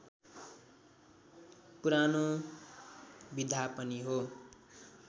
पुरानो विधा पनि हो